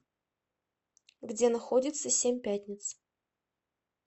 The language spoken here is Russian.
где находится семь пятниц